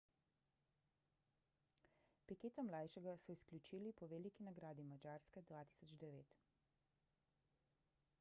piqueta mlajšega so izključili po veliki nagradi madžarske 2009